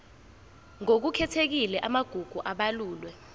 ngokukhethekile amagugu abalulwe